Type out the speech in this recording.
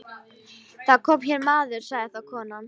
Það kom hér maður, sagði þá konan.